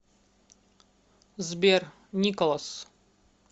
сбер николас